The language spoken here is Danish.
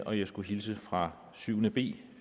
og jeg skal hilse fra syvende b